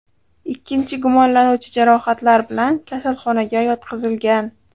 Ikkinchi gumonlanuvchi jarohatlar bilan kasalxonaga yotqizilgan.